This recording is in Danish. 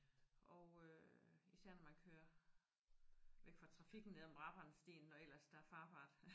Og øh især når man kører væk fra trafikken ned ad Brabrandstien når ellers der er farbart